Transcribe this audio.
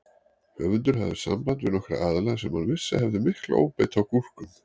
Höfundur hafði samband við nokkra aðila sem hann vissi að hefðu mikla óbeit á gúrkum.